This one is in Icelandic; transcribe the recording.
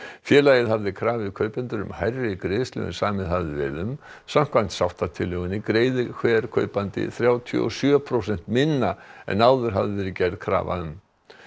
félagið hafði krafið kaupendur um hærri greiðslu en samið hafði verið um samkvæmt sáttatillögunni greiðir hver kaupandi þrjátíu og sjö prósent minna en áður hafði verið gerð krafa um